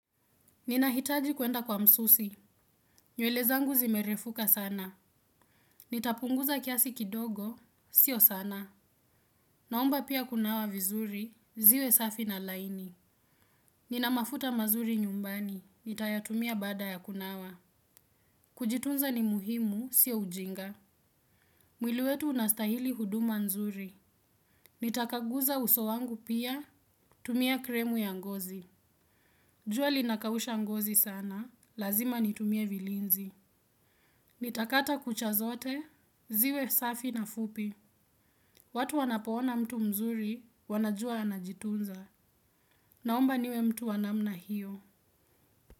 Ninahitaji kuenda kwa msusi. Nywele zangu zimerefuka sana. Nitapunguza kiasi kidogo, sio sana. Naomba pia kunawa vizuri ziwe safi na laini. Nina mafuta mazuri nyumbani nitayatumia baada ya kunawa. Kujitunza ni muhimu, sio ujinga. Mwili wetu unastahili huduma nzuri. Nitakaguza uso wangu pia, tumia kremu ya ngozi. Jua linakausha ngozi sana lazima nitumie vilinzi. Nitakata kucha zote ziwe safi na fupi. Watu wanapo ona mtu mzuri wanajua anajitunza. Naomba niwe mtu wa namna hiyo.